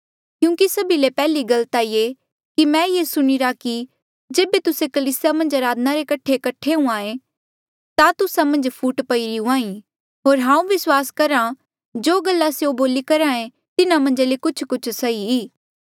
क्यूंकि सभी ले पैहली गल ता ये कि मैं ये सुणीरा कि जेबे तुस्से कलीसिया मन्झ अराधना रे कठे कठ्ठा हुंहां ऐें ता तुस्सा मन्झ फूट पईरी हुंहां ईं होर हांऊँ विस्वास करहा जो गल्ला स्यों बोली करहे तिन्हा मन्झ ले कुछकुछ सही